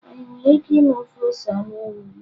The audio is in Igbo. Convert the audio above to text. Anyị nwere ike ime ofe ose anụ ewu ugbua?